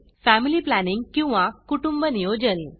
family planning किंवा कुटुंब नियोजन